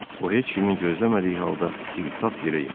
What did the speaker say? O heç kimin gözləmədiyi halda tiktap yerə yıxıldı.